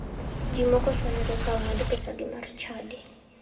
Ji moko chwanyore ka ong'ad pesagi mar chadi.